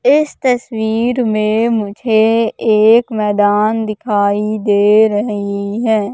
इस तस्वीर में मुझे एक मैदान दिखाई दे रहीं है।